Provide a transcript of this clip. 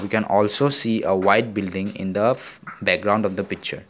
we can also see a white building in the of background of the picture.